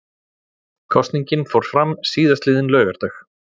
Kosningin fór fram síðastliðinn laugardag